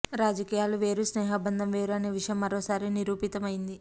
రాజకీయాలు వేరు స్నేహబంధం వేరు అనే విషయం మరోసారి నిరూపితం అయ్యింది